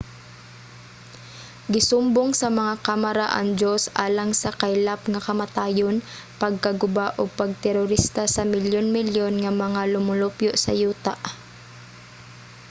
gisumbong sa mga kamara ang diyos alang sa kaylap nga kamatayon pagkaguba ug pag-terorista sa milyon-milyon nga mga lumulupyo sa yuta.